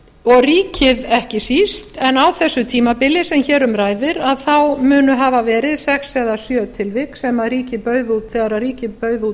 og ríkið ekki síst á þessu tímabili sem hér um ræðir munu hafa verið sex eða sjö tilvik þegar ríkið bauð út